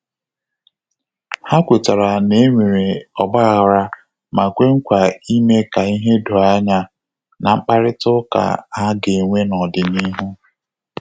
Ha kwetara na enwere ọgbaaghara ma kwe nkwa ime ka ihe doo anya na mkparịta uka ha ga-enwe na ọdịnihu